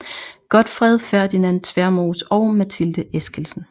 Godtfred Ferdinand Tvermoes og Mathilde Esskildsen